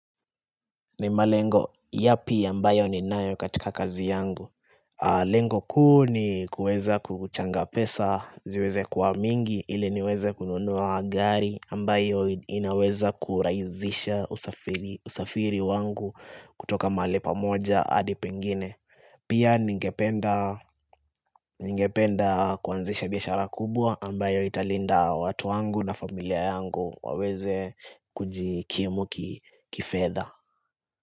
Ni malengo yapi ambayo ninayo katika kazi yangu Lengo kuu ni kuweza kuchanga pesa, ziweze kuwa mingi ili niweze kununua gari ambayo inaweza kurahisha usafiri wangu kutoka mahali pa moja hadi pengine Pia ningependa kuanzisha biashara kubwa ambayo italinda watu wangu na familia yangu waweze kujikimu kifedha.